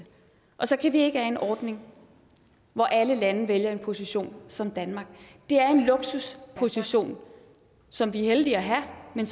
og så kan vi ikke have en ordning hvor alle lande vælger en position som danmarks det er en luksusposition som vi er heldige at have men